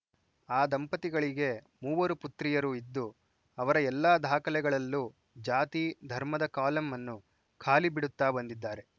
ಆ ದಂಪತಿಗೆ ಮೂವರು ಪುತ್ರಿಯರು ಇದ್ದು ಅವರ ಎಲ್ಲ ದಾಖಲೆಗಳಲ್ಲೂ ಜಾತಿ ಧರ್ಮದ ಕಾಲಂ ಅನ್ನು ಖಾಲಿ ಬಿಡುತ್ತಾ ಬಂದಿದ್ದಾರೆ